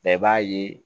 Bɛɛ b'a ye